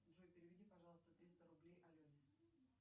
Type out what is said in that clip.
джой переведи пожалуйста триста рублей алене